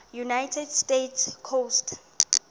united states coast